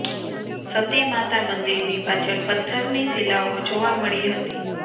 સતી માતા મંદિરની પાછળ પત્થરની શિલાઓ જોવા મળી હતી